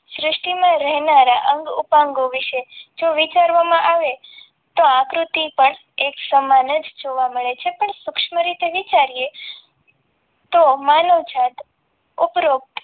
સૃષ્ટિમાં રહેલા અંગ ઉપાંગો જો વિચારવામાં આવે તો આકૃતિ પણ એક સમાન જ જોવા મળે છે પણ સૂક્ષ્મ રીતે વિચારીએ તો આ માનવજાત ઉપરોક્ત